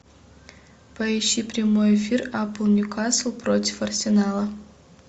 поищи прямой эфир апл ньюкасл против арсенала